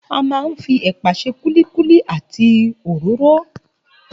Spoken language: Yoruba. A máa ń fi ẹ̀pà ṣe kúlíkúlí àti òróró